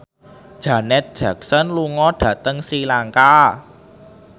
Janet Jackson lunga dhateng Sri Lanka